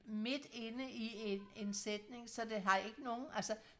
midt inde i en en sætning så det har ikke nogen altså